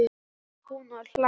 segir hún og hlær.